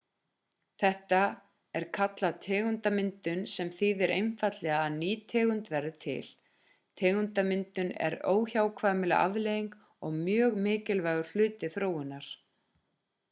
þetta er kallað tegundamyndun en þýðir einfaldlegar að ný tegund verður til tegundamyndun er óhjákvæmileg afleiðing og mjög mikilvægur hluti þróunar